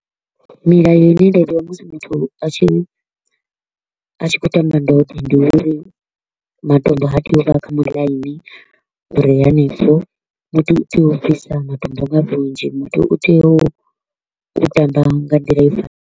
Milayo i ne musi muthu a tshi a tshi kho u tamba ndode ndi uri matombo ha tei u vha kha muḽaini u re hanefho, muthu u tea u bvisa matombo nga vhunzhi, muthu u tea u tamba nga nḓila i fanelaho.